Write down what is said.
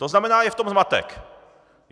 To znamená, je v tom zmatek.